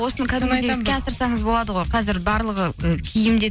осыны кәдімгідей іске асырсаңыз болады ғой қазір барлығы ы киім де